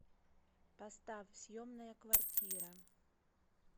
поставь съемная квартира